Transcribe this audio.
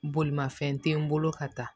Bolimafɛn te n bolo ka taa